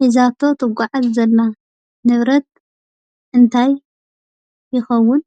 ሒዛቶ ትጓዓዝ ዘላ ንብረት እንታይ ይከውን?